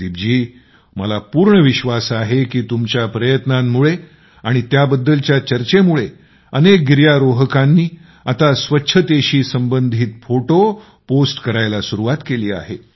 आणि मला पूर्ण विश्वास आहे की तुमच्या प्रयत्नांमुळे आणि त्याबद्दलच्या चर्चेमुळे अनेक गिर्यारोहकांनी आता स्वच्छतेशी संबंधित फोटो पोस्ट करायला सुरुवात केली आहे